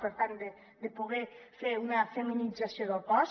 per tant de poder fer una feminització del cos